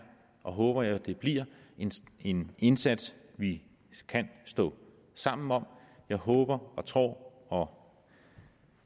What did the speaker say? og jeg håber det bliver en indsats vi kan stå sammen om jeg håber og tror og